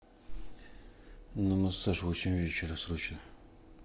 на массаж в восемь вечера срочно